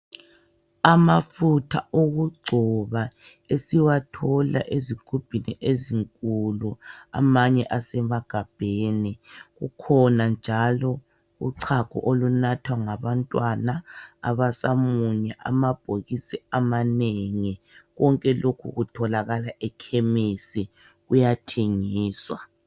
Amafutha okugcoba esiwathola ezigubhini ezinkulu amanye asemagabheni. Kukhona njalo uchago olunathwa ngabantwana abasamunya ,amabhokisi amanengi konke lokhu kutholakala eKhemesi kuyathengiswa.